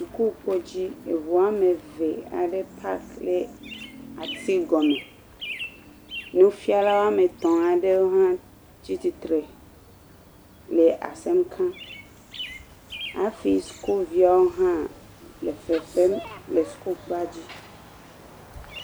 Sukukpodzi, eŋu am eve aɖe pak ɖe ati gɔme, nufialw woame etɔ̃ aɖewo hã tsi tsitre le asem ka, hafi sukuviawo hã le fefem le sukukpoa dzi.